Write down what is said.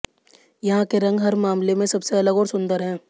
यहां के रंग हर मामले में सबसे अलग और सुंदर हैं